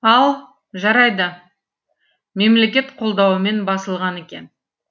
ал жарайды мемлекет қолдауымен басылған екен